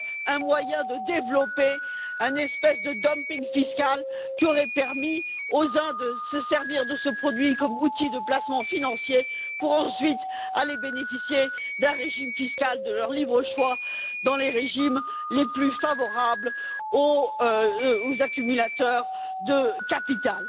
un moyen de développer une espèce de dumping fiscal qui aurait permis à certains de se servir de ce produit comme outil de placement financier pour ensuite aller bénéficier d'un régime fiscal de leur libre choix dans les pays les plus favorables aux accumulateurs de capital.